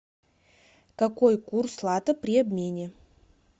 какой курс лата при обмене